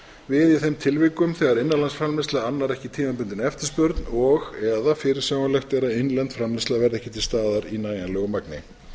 við í þeim tilvikum þegar innanlandsframleiðsla annar ekki tímabundinni eftirspurn og eða fyrirsjáanlegt er að innlend framleiðsla verði ekki til staðar í nægjanlegu magni